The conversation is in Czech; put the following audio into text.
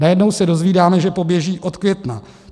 Najednou se dozvídáme, že poběží od května.